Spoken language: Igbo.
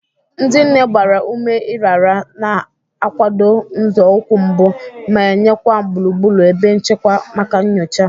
Ndị nne gbara ume ịrara, na-akwado nzọụkwụ mbụ, ma nyekwa gburugburu ebe nchekwa maka nyocha.